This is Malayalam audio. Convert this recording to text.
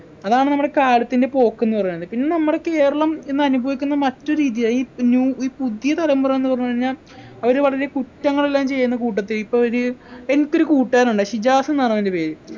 അതാണ് നമ്മടെ കാലത്തിൻ്റെ പോക്ക്ന്ന് പറയുന്നത് പിന്നെ നമ്മുടെ കേരളം ഇന്നനുഭവിക്കുന്ന മറ്റു രീതിയായി ഇപ്പ് new ഈ പുതിയ തലമുറാന്ന് പറഞ്ഞു കഴിഞ്ഞാ അവര് വളരെ കുറ്റങ്ങളെല്ലാം ചെയ്യുന്ന കൂട്ടത്തീ ഇപ്പൊ ഒര് എനിക്കൊരു കൂട്ടുകാരനുണ്ട് ഷിജാസ്ന്നാണ് അവൻ്റെ പേര്